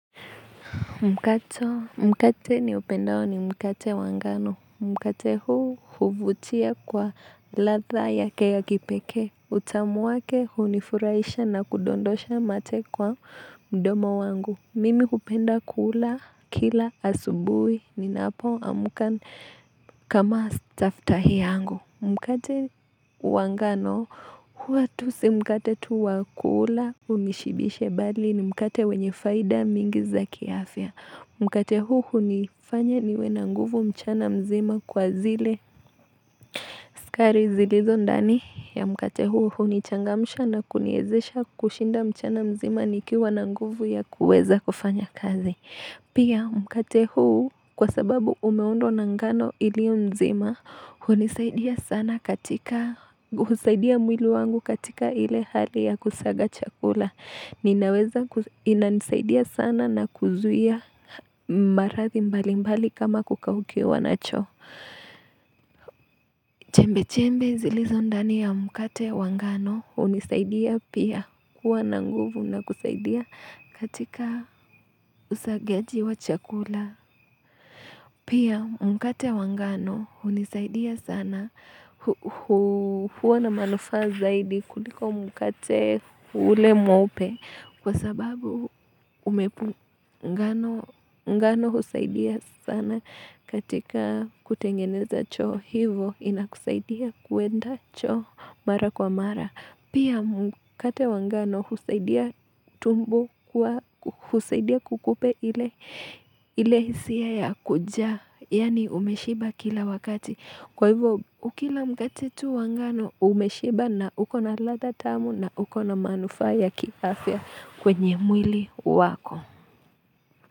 Mkate niupendao ni mkate wa ngano. Mkate huu huvutia kwa ladha yake ya kipekee. Utamu wake hunifurahisha na kudondosha mate kwa mdomo wangu. Mimi hupenda kuula kila asubui ninapoamka kama staftahi yangu. Mkate wa ngano huwa tu si mkate tu wa kula unishibishe bali ni mkate wenye faida mingi za kiafya. Mkate huu hunifanya niwe na nguvu mchana mzima kwa zile. Sukari zilizo ndani ya mkate huu hunichangamsha na kuniwezesha kushinda mchana mzima nikiwa na nguvu ya kuweza kufanya kazi. Pia, mkate huu kwa sababu umeundwa na ngano ilio nzima, hunisaidia sana katika, husaidia mwili wangu katika ile hali ya kusaga chakula. Ninaweza, inanisaidia sana na kuzuia maradhi mbali mbali kama kukaukiwa na choo. Chembe chembe zilizo ndani ya mkate wa ngano, hunisaidia pia kuwa na nguvu na kusaidia katika usagaji wa chakula. Pia mkate wa ngano hunisaidia sana huwa na manufaa zaidi kuliko mkate ule mweupe kwa sababu ngano husaidia sana katika kutengeneza choo hivo inakusaidia kuenda choo mara kwa mara. Pia mkate wa ngano husaidia kukupa ile hisia ya kujaa, yani umeshiba kila wakati. Kwa hivyo ukila mkate tu wa ngano umeshiba na uko na ladha tamu na uko na manufaa ya kiafya kwenye mwili wako.